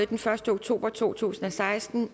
den første oktober to tusind og seksten